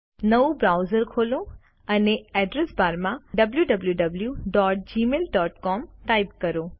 નવું બ્રાઉઝર ખોલો અને અડ્રેસ બારમાં wwwgmailcom ટાઇપ કરો